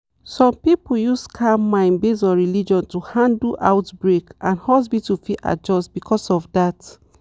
some people use calm mind based on religion to handle outbreak and hospital fit adjust because of that.